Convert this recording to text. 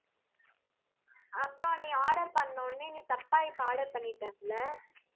அப்புறம் நீ order பண்ண உடனே, நீ தப்பா இப்ப order பண்ணிட்ட அதுல